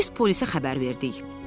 Biz polisə xəbər verdik.